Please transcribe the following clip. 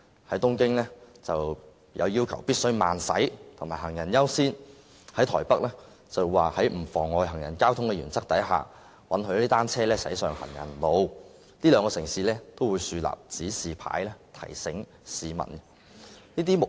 在東京，政府要求單車必須慢駛及讓行人優先，而台北政府則是在不妨礙行人和交通的原則下，允許單車駛上行人路，這兩個城市均會豎立指示牌，提醒市民有關情況。